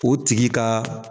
O tigi ka.